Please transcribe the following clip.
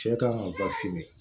Cɛ kan ŋa bafin